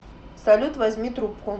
салют возьми трубку